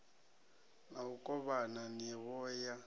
na u kovhana nivho ya